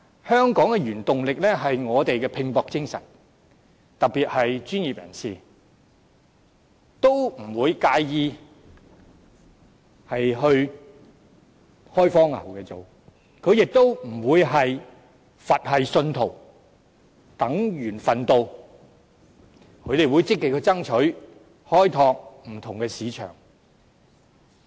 香港的原動力是我們的拼搏精神，特別是專業人士，他們不會介意前往大灣區作開荒牛，他們亦不會是佛系信徒，等緣份到，而是會積極爭取，開拓不同的市場。